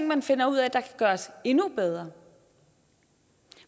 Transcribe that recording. man finder ud af kan gøres endnu bedre